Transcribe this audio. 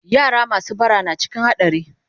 yara masu bara na cikin hadari